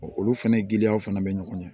Olu fɛnɛ giliyaw fana be ɲɔgɔn ɲɛ